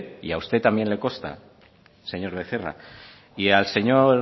y a usted también le consta señor becerra y al señor